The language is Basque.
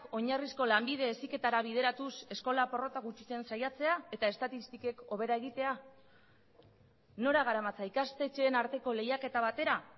oinarrizko lanbide heziketara bideratuz eskola porrota gutxitzen saiatzea eta estatistikek hobera egitea nora garamatza ikastetxeen arteko lehiaketa batera